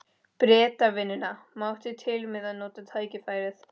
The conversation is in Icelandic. Bretavinnuna, mátti til með að nota tækifærið.